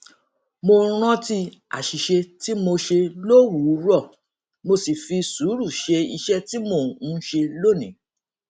mo rántí àṣìṣe tí mo ṣe lówùúrọ mo sì fi sùúrù ṣe iṣẹ tí mò ń ṣe lónìí